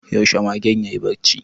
Yaushe magen yayi barci?